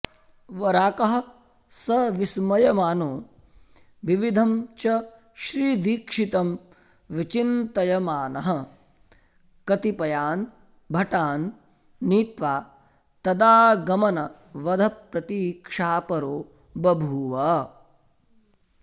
वराकः स विस्मयमानो विविधं च श्रीदीक्षितं विचिन्तयमानः कतिपयान् भटान् नीत्वा तदागमनवधप्रतीक्षापरो बभूव